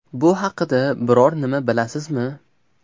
Bu haqida biror nima bilasizmi?